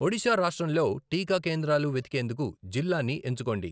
ఒడిషా రాష్ట్రంలో టీకా కేంద్రాలు వెతికేందుకు జిల్లాని ఎంచుకోండి